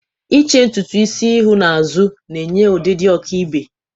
Iche ntutu isi ihu n'azụ na-enye ọdịdị ọkaibe.